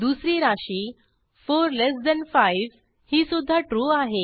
दुसरी राशी 45 ही सुध्दा ट्रू आहे